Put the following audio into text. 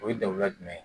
O ye dagunda jumɛn ye